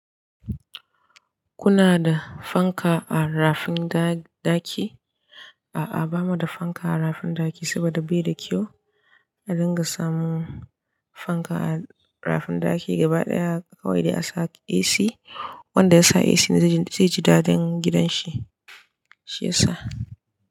Kuna da fanka a rafin ɗaki? A'a, ba mu da fanka a rafin ɗaki saboda bai da kyau. A dinga samun fanka a rafin ɗaki gaba ɗaya kawai da ya sa AC. Wanda ya sa AC zai ji dadi gidan shi shi ya sa.